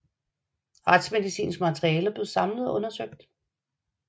Retsmedicinsk materiale blev samlet og undersøgt